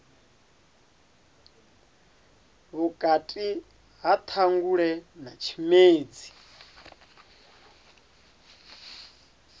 vhukati ha ṱhangule na tshimedzi